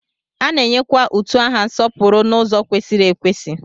A na-enyekwa utu aha nsọpụrụ n'ụzọ kwesịrị ekwesị.